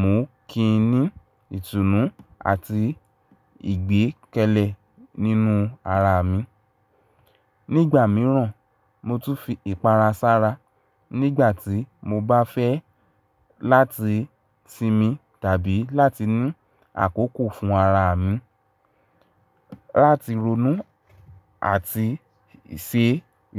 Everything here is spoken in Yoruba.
mú kí n ní ìtùnú àti ìgbẹ́kẹ̀lé nínú ara mi. Nígbà mìíràn, mo tún fi ìpara sára nígbà tí mo bá fẹ́ láti sinmi tàbí láti ní àkókò fún ara mi, láti ronú àti ṣe